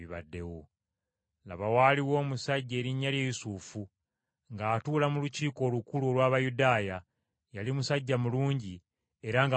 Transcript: Laba waaliwo omusajja erinnya lye Yusufu, ng’atuula mu Lukiiko Olukulu olw’Abayudaaya, yali musajja mulungi era nga mutuukirivu,